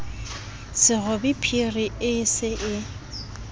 serobe phiri e se e